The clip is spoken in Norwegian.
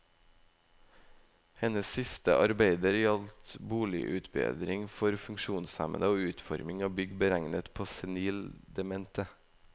Hennes siste arbeider gjaldt boligutbedring for funksjonshemmede og utforming av bygg beregnet på senil demente.